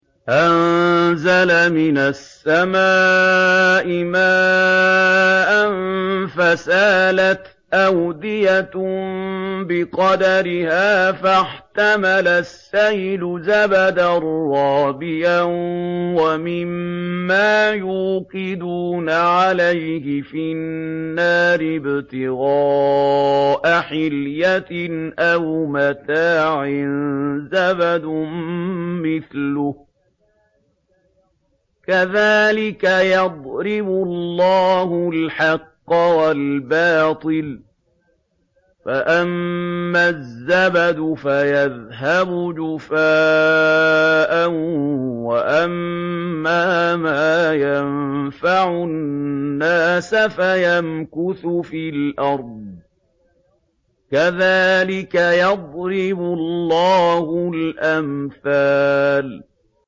أَنزَلَ مِنَ السَّمَاءِ مَاءً فَسَالَتْ أَوْدِيَةٌ بِقَدَرِهَا فَاحْتَمَلَ السَّيْلُ زَبَدًا رَّابِيًا ۚ وَمِمَّا يُوقِدُونَ عَلَيْهِ فِي النَّارِ ابْتِغَاءَ حِلْيَةٍ أَوْ مَتَاعٍ زَبَدٌ مِّثْلُهُ ۚ كَذَٰلِكَ يَضْرِبُ اللَّهُ الْحَقَّ وَالْبَاطِلَ ۚ فَأَمَّا الزَّبَدُ فَيَذْهَبُ جُفَاءً ۖ وَأَمَّا مَا يَنفَعُ النَّاسَ فَيَمْكُثُ فِي الْأَرْضِ ۚ كَذَٰلِكَ يَضْرِبُ اللَّهُ الْأَمْثَالَ